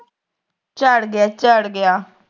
ਚੜ੍ਹ ਗਿਆ ਚੜ ਗਿਆ